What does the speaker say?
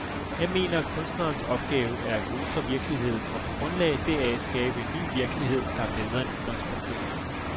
Jeg mener, at kunstnerens opgave er at gå ud fra virkeligheden og på grundlag deraf skabe en ny virkelighed, der er bedre end udgangspunktet.